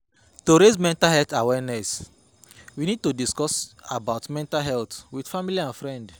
To raise mental health awareness, we need to discuss about mental health with family and friend